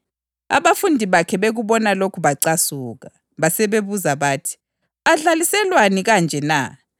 Abafundi bathi bekubona lokho bacasuka. Basebebuza bathi, “Adlaliselwani kanje na?